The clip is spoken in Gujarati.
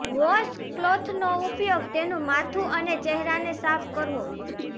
વોશ ક્લોથનો ઉપયોગ તેનું માથું અને ચહેરાને સાફ કરવો